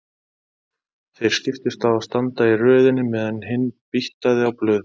Þeir skiptust á að standa í röðinni meðan hinn býttaði á blöðum.